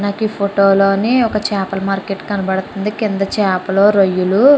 నాకు ఈ ఫోటో లోని ఒక చేపల మార్కెట్ కనబడుతుంది. కింద చేపలు రొయ్యలు --